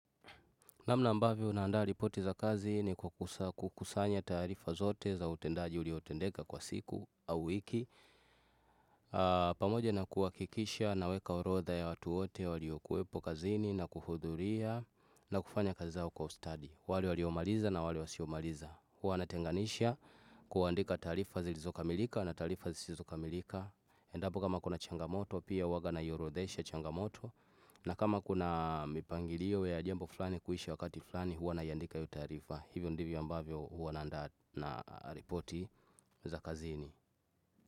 Namna ambavyo unandaa ripoti za kazi ni kukusanya taarifa zote za utendaji uliotendeka kwa siku au wiki. Pamoja na kuwakikisha naweka orodha ya watu wote waliokuwepo kazini na kuhudhuria na kufanya kazi zao kwa ustadi. Wale waliomaliza na wale wasiomaliza. Huwa natenganisha kuandika taarifa zilizokamilika na tarifa zisizokamilika. Endapo kama kuna changamoto pia huwa naiorodhesha changamoto. Na kama kuna mipangilio ya jambo flani kuisha wakati flani huwa naiandika hio taarifa. Hivyo ndivyo ambavyo huwa naanda na repoti za kazini.